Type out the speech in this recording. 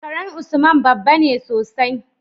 karan usman babbane sosai